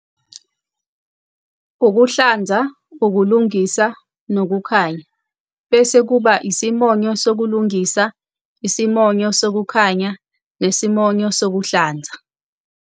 Ukuhlanza, ukulungisa, nokukhanya. Bese kuba isimonyo sokulungisa, isimonyo sokukhanya, nesimonyo sokuhlanza.